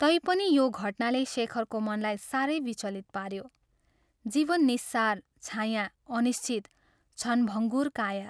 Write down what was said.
तैपनि यो घटनाले शेखरको मनलाई साह्रै विचलित पाऱ्यो जवीन निस्सार, छायाँ, अनिश्चित क्षणभङ्गुर काया।